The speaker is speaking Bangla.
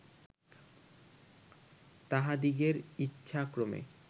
তাঁহাদিগের ইচ্ছাক্রমে